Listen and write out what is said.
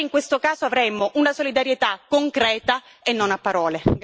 Allora in questo caso avremmo una solidarietà concreta e non a parole.